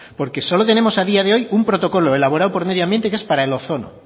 porque solo tenemos a día de hoy un protocolo elaborado por medio ambiente que es para el ozono